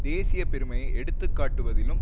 தேசிய பெருமையை எடுத்துக்காட்டுவதிலும்